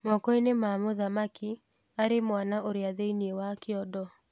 Mokoinĩ ma mũthamaki arĩmwana ũrĩa thĩiniĩ wa kyondo.